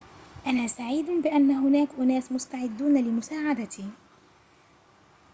أنا سعيد بأن هناك أناس مستعدون لمساعدتي